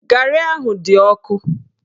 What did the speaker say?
Garị ahụ dị ọkụ